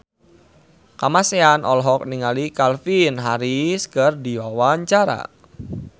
Kamasean olohok ningali Calvin Harris keur diwawancara